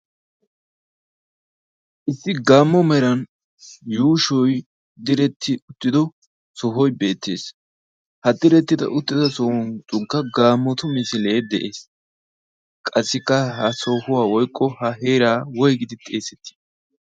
Issi gaammo meran yuushoi diretti uttido sohoi beettees ha direttida uttido sohun cunkka gaamotu misilee de'ees. Qassikka ha sohuwaa woykko ha heeraa woygidi xeesettii?